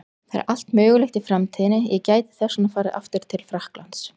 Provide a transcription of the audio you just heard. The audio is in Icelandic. Það er allt mögulegt í framtíðinni, ég gæti þess vegna farið aftur til Frakklands.